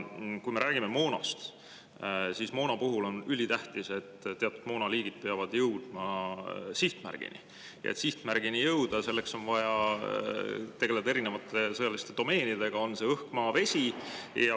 Kui me räägime moonast, siis on ülitähtis, et teatud moonaliigid peavad jõudma sihtmärgini, ja et sihtmärgini jõuda, selleks on vaja tegeleda erinevate sõjaliste domeenidega, on see õhk, maa või vesi.